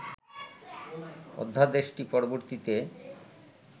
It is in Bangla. অধ্যাদেশটি পরবর্তীতে